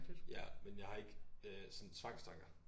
Ja men jeg har ikke øh sådan tvangstanker